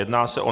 Jedná se o